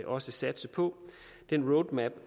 også satse på den roadmap